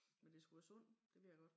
Men det skulle være sundt det ved jeg godt